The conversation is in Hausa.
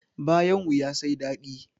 Bayan wuya sai dadi